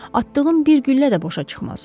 Atdığım bir güllə də boşa çıxmaz.